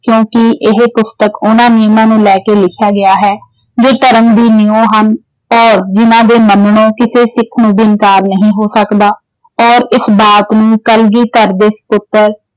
ਕਿਉਂਕਿ ਇਹ ਪੁਸਤਕ ਉਨ੍ਹਾਂ ਨਿਯਮਾਂ ਨੂੰ ਲੈ ਕੇ ਲਿਖਿਆ ਗਿਆ ਹੈ ਜੋ ਧਰਮ ਦੀ ਨਿਉਂ ਹਨ ਔਰ ਜਿੰਨ੍ਹਾਂ ਦੇ ਮੰਨਣੋ ਕਿਸੇ ਸਿੱਖ ਨੂੰ ਵੀ ਇਨਕਾਰ ਨਹੀਂ ਹੋ ਸਕਦਾ ਔਰ ਇਸ ਬਾਤ ਨੂੰ ਕਲਗੀਧਰ ਦੇ ਸਪੁੱਤਰ